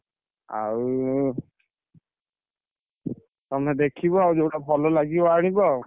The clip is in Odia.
ଆଉ ତମେ ଦେଖିବ ଆଉ ଯୋଉଟା ଭଲ ଲାଗିବ ଆଣିବ ଆଉ।